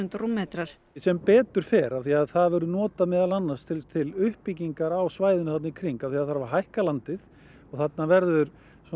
rúmmetrar sem betur fer því það verður notað meðan annars til uppbyggingar á svæðinu þarna í kring af því að það þarf að hækka landið og þarna verður